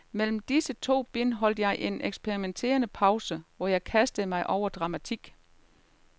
Mellem disse to bind holdt jeg en eksperimenterende pause, hvor jeg kastede mig over dramatik.